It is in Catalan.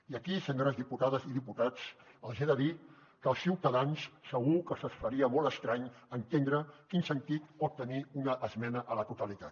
i aquí senyores diputades i diputats els he de dir que als ciutadans segur que se’ls faria molt estrany entendre quin sentit pot tenir una esmena a la totalitat